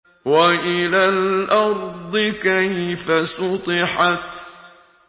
وَإِلَى الْأَرْضِ كَيْفَ سُطِحَتْ